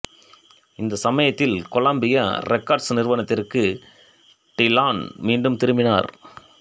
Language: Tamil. இந்த சமயத்தில் கொலம்பியா ரெக்கார்ட்ஸ் நிறுவனத்திற்கு டிலான் மீண்டும் திரும்பினார்